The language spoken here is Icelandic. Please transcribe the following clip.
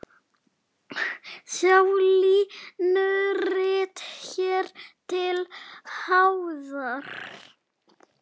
Sjá línurit hér til hliðar.